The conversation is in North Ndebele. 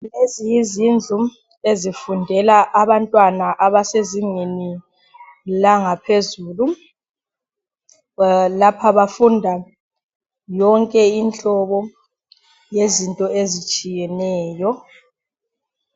Lezi yizindlu ezifundela abantwana abasezingeni langaphezulu. Lapha bafunda yonke inhlobo yezinto ezitshiyeneyo.